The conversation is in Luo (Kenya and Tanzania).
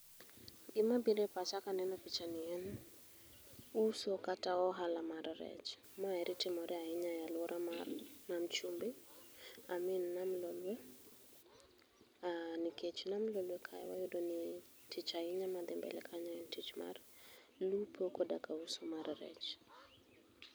Gima bire pacha kaneno pichani en uso kata ohala mar rech. Maeri timore ahinya e aluora mar nam chumbi I mean nam Lolwe uuh nikech nam Lolwe kae wayudo ni tich ahinya madhi mbele en tich mar lupo koda ka uso mar rech.